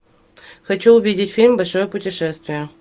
хочу увидеть фильм большое путешествие